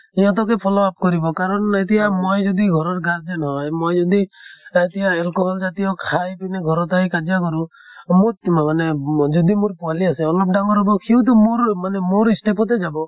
সিহঁতকে follow up কৰিব কাৰণ এতিয়া মই যদি ঘৰৰ গাৰ্জেন হয়, মই যদি এতিয়া alcohol জাতিয় খাই পিনে ঘৰত আহি কাজিয়া কৰো, মোত মানে যদি মোৰ পোৱালী আছে, অলপ ডাঙৰ হʼব সিওটো মোৰ মানে মোৰ step তে যাব।